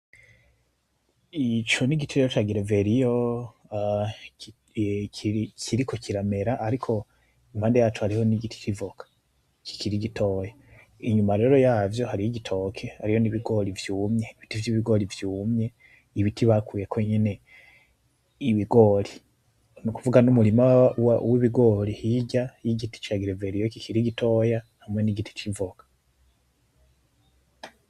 Ico n'igiti rero ca gereveriyo, kiriko kiramera ariko impande yaco hariho n'igiti c'ivoka kikiri gitoya, inyuma rero yavyo hariho igitoke hariho n'ibigori vyumye, ibiti vy'ibigori vyumye, ibiti bakuyeko nyene ibigori, nukuvuga n'umurima w'ibigori hirya y'igiti ca gereveriyo kiri gitoya, hamwe n'igiti c'ivoka.